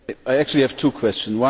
I actually have two questions.